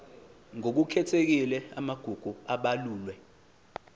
ngokukhethekile amagugu abalulwe